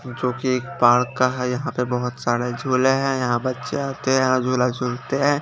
जो की एक पार्क का है यहाँ पर बोहोत सारे जुले है यहाँ बच्चे आते है और जुला जुलते है।